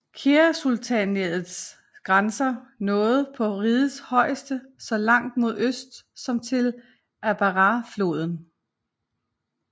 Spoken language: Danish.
Keirasultanatets grænser nåede på rigets højeste så langt mod øst som til Atbarahfloden